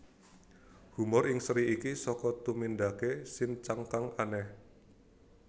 Humor ing seri iki saka tumindake Shin chan kang aneh